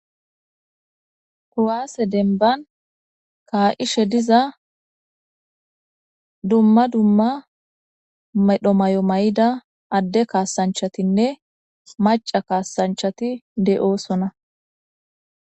Kuwase demban ka'ishe diza dumma dumma medho mayo mayida Ade kasanchatinne macha kasanchati de'osona